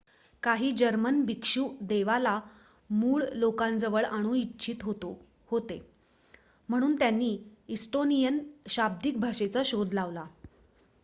काही जर्मन भिक्षू देवाला मूळ लोकांजवळ आणू इच्छित होते म्हणून त्यांनी एस्टोनियन शाब्दिक भाषेचा शोध लावला